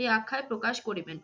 এই আখ্যায় প্রকাশ করিবেন।